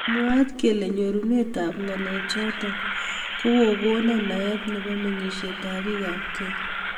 Mwaat kele nyorunet ab ngalek chotok kokakokon naet nebo mengishet ab bik ab keny.